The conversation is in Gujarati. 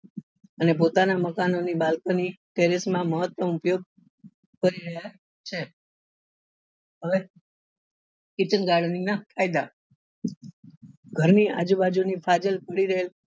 ને પોતાના મકાનો ની terrace balcony ના મહત્તમ ઉપયોગ કરી રહ્યા છે હવે kitchen garden ના ફાયદા ઘર ની આજુબાજુ ની